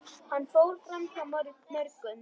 Hann fór framhjá mörgum.